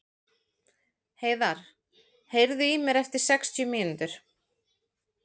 Heiðar, heyrðu í mér eftir sextíu mínútur.